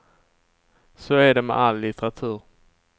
Så är det med all litteratur.